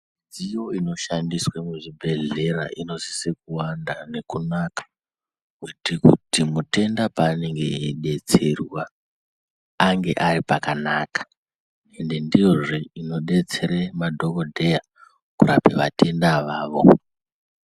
Midziyo ino shandiswe mu zvibhedhlera ino sise kuwanda nekunaka kuti mutenda paanenge eyi detserwa ange ari pakanaka ende ndiyozve ino detsere madhokodheya kurapa vatenda avavo.